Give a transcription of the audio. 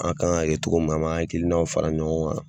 An k'a kɛ togo min na an b'an hakilinanw fara ɲɔgɔn